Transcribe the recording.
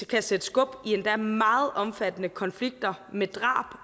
kan sætte skub i endda meget omfattende konflikter med drab